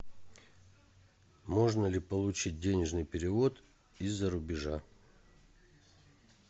можно ли получить денежный перевод из за рубежа